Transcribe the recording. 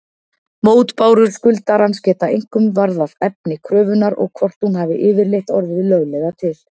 Mótbárur skuldarans geta einkum varðað efni kröfunnar og hvort hún hafi yfirleitt orðið löglega til.